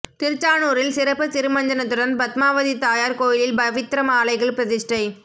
திருச்சானூரில் சிறப்பு திருமஞ்சனத்துடன் பத்மாவதி தாயார் கோயிலில் பவித்ர மாலைகள் பிரதிஷ்டை